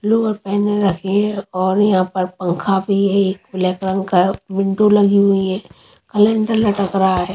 Blue pen रखी है और यहाँ एक पंखा भी है ब्लैक कलर का विंडो लगी हुई है कैलेंडर लटक रहा है।